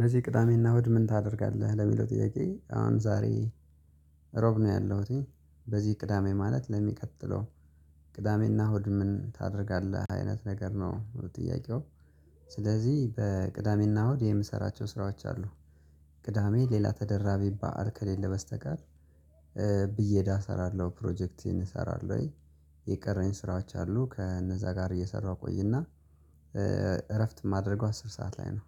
በዚህ ቅዳሜና እሁድ ምን ታደርጋለህ ለሚለው ጥያቄ አሁን ዛሬ ሮብ ነው ያለሁት። በዚህ ቅዳሜ ማለት ለሚቀጥለው? ቅዳሜና እሁድ ምን ታደርጋለህ አይነት ነገር ነው ጥያቄው። ስለዚህ በቅዳሜና እሁድ የምሰራቸው ስራዎች አሉ። ቅዳሜ ሌላ ተደራቢ ባዓል ከሌለ በስተቀር። ብየዳ እሰራለሁ ፕሮጀክቴን እሰራለሁ። የቀረኝ ስራዎች አሉ ከእነዛ ጋር እየሰራሁ እቆይና። እረፍት የማደርገው አስር ሰዓት ላይ ነው።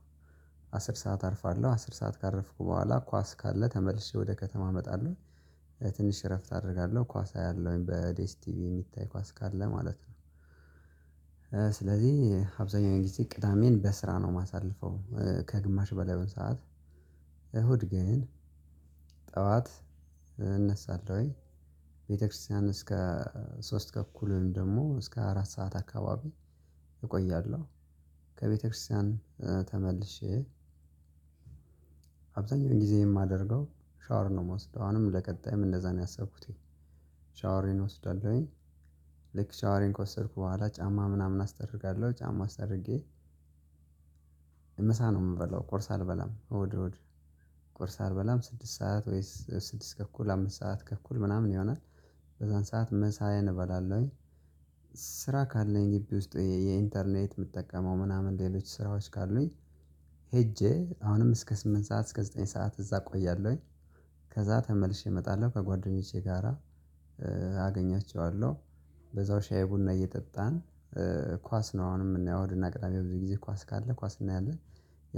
አስር ሰዓት አርፋለሁ አስር ሰዓት ካረፍኩ በኋላ ኳስ ካለ ተመልሼ ወደ ከተማ እመጣለሁ። ትንሽ እረፍት አደርጋለሁ ኳስ አያለሁኝ በዴስ ቲቪ የሚታይ ኳስ ካለ ማለት ነው። ስለዚህ አብዛኛው ጊዜ ቅዳሜን በስራ ነው የማሳልፈው ከግማሽ በላይ ሰዓት። እሁድ ግን ጠዋት እነሳለሁኝ። ቤተክርስቲያን እስከ ሶስት ተኩልም ደግሞ እስከ አራት ሰዓት አካባቢ እቆያለሁ። ከቤተክርስቲያን ተመልሼ አብዛኛው ጊዜ የማደርገው ሻወር ነው የምወስደው አሁንም ለቀጣይም እንደዛ ነው ያሰብኩት። ሻወርን እወስዳለሁኝ። ልክ ሻወሬን ከወሰድኩ በኋላ ጫማ ምናምን አስተርጋለሁ ጫማ አስታርጌ። ምሳ ነው የምበላው ቁርስ አልበላም እሁድ እሁድ ቁርስ አልበላም ስድስት ሰዓት ወይም ስድስት ተኩል አምስት ሰዓት ተኩል ምናምን ይሆናል። በዛን ሰዓት ምሳየን እባላለሁኝ። ስራ ካለኝ ግቢ ውስጥ የኢንተርኔት የምጠቀመው ምናምን ሌሎች ስራዎች ካሉኝ። ሄጄ አሁንም እስከ ስምንት ሰዓት እስከ ዘጠኝ ሰዓት እዛ እቆያለሁኝ። ከዛ ተመልሼ እመጣለሁ ከጓደኞቼ ጋራ አገኛቸዋለሁ በዛው ሻይ ቡና እየጠጣን። ኳስ ነው አሁንም ምናየው እሁድና ቅዳሜ ብዙ ጊዜ ኳስ ካለ ኳስ እናያለን።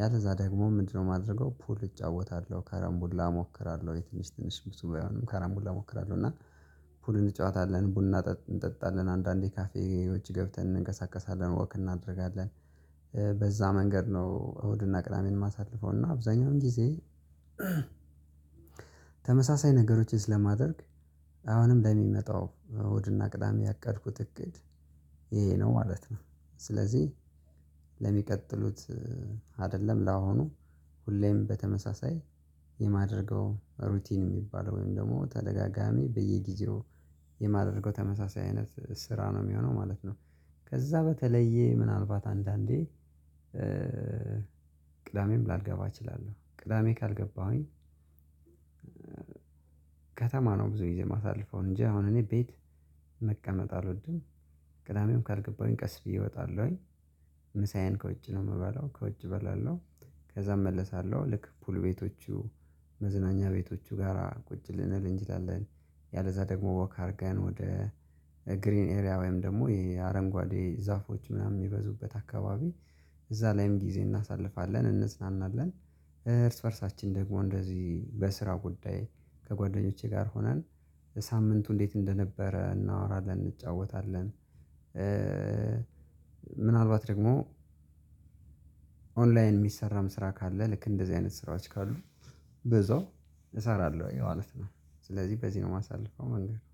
ያለዛ ደግሞ ምንድነው? የማደርገው ፑል እጫወታለሁ ከረምቡላ እሞክራለሁ ትንሽ ትንሽ ብዙ ባይሆንም ካራምቡላ እሞክራለሁ። እና ፑል እንጫወታለን ቡና እንጠጣለን አንዳንዴ ካፌ ውጪ ገብተን እንንቀሳቀሳለን ወክ እናደርጋለን። በዛ መንገድ ነው እሁድና ቅዳሜን የማሳልፈው እና አብዛኛውን ጊዜ። ተመሳሳይ ነገሮችን ስለማደርግ አሁንም ለሚመጣው እሁድና ቅዳሜ ያቀድኩት እቅድ ይሄ ነው ማለት ነው። ስለዚህ ለሚቀጥሉት አይደለም ለሁኑ ሁሌም በተመሳሳይ የማደርገው ሩቲን የሚባለው ወይም ደግሞ ተደጋጋሚ በየጊዜው የማደርገው ተመሳሳይ አይነት ስራ ነው የሚሆነው ማለት ነው። ከዛ በተለየ ምናልባት አንዳንዴ ቅዳሜም ላልገባ እችላለሁ ቅዳሜ ካልገባሁኝ። ከተማ ነው ብዙ ጊዜ የማሳልፈው እንጂ አሁን እኔ ቤት መቀመጥ አልወድም። ቅዳሜም ካልገባሁኝ ቀስ ብዬ እወጣለሁኝ። ምሳዬን ከውጭ ነው የምበላው ከውጭ እበላለሁ። ከዛ እመለሳለሁ ልክ ፑል ቤቶቹ መዝናኛ ቤቶቹ ጋራ ቁጭ ልንል እንችላለን። ያለዛ ደግሞ ወክ አድርገን ወደ ግሪን ኤሪያ ወይም ደግሞ የአረንጓዴ ዛፎች ምናምን የሚበዙበት አካባቢ እዛ ላይም ጊዜ እናሳልፋለን እንዝናናለን። እርስ በእርሳችን ደግሞ እንደዚህ በስራ ጉዳይ ከጓደኞቼ ጋር ሆነን ሳምንቱ እንዴት እንደነበረ እናወራለን እንጫወታለን። ምናልባት ደግሞ ኦንላይን የሚሰራም ስራ ካለ ልክ እንደዚህ አይነት ስራዎች ካሉ ብዛው እሰራለሁ ያው ማለት ነው። ስለዚህ በዚህ ነው የማሳልፈው መንገድ